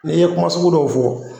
N'i ye kuma sugu dɔw fo